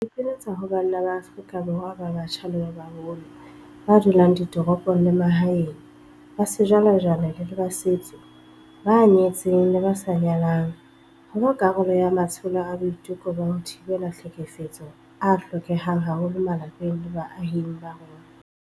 Ke ipiletsa ho banna ba Afrika Borwa ba batjha le ba baholo, ba dulang ditoropong le ba mahaeng, ba sejwalejwale le ba setso, ba nyetseng le ba sa nyalang, ho ba karolo ya matsholo a boiteko ba ho thibela tlhekefetso a hlokehang haholo malapeng le baahing ba rona.